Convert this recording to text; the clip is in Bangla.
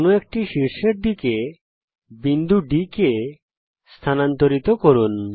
কোনো এক শীর্ষের দিকে বিন্দু D কে স্থানান্তরিত করুন